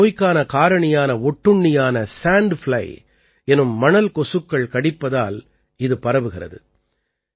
இந்த நோய்க்கான காரணியான ஒட்டுண்ணியான சாண்ட் பிளை எனும் மணல் கொசுக்கள் கடிப்பதால் இது பரவுகிறது